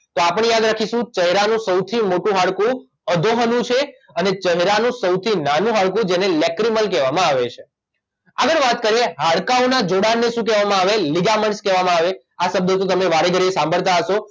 તો આપણે યાદ રાખીશું ચહેરાનું સૌથી મોટું હાડકું અધોહનુ છે અને ચહેરાનું સૌથી નાનું હાડકું જેને લેક્રીમલ કહેવામાં આવે છે આગળ વાત કરીએ હાડકાંઓનાં જોડાણને શું કહેવામાં આવે લિગામેન્ટ કહેવામાં આવે આ શબ્દ તો તમે વારેઘડીએ સાંભળતા હશો